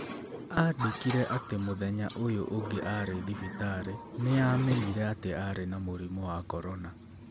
Aandĩkire atĩ mũthenya ũyũ ũngĩ arĩ thibitarĩ nĩ aamenyire atĩ arĩ na mũrimũ wa corona.